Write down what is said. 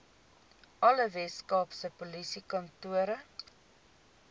alle weskaapse polisiekantore